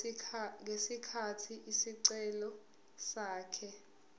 ngesikhathi isicelo sakhe